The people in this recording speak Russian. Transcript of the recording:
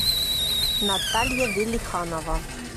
наталья велиханова